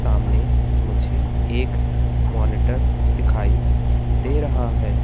सामने मुझे एक मॉनिटर दिखाई दे रहा है।